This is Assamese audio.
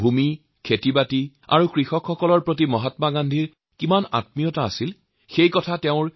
মাটি খেতিখোলা আৰু কৃষক ভাইসকলৰ প্ৰতি মহাত্মা গান্ধীৰ কিমান আগ্ৰহ আছিল সেয়া তেওঁৰ বক্তব্যত জলজল পটপটকৈ ধৰা দিয়ে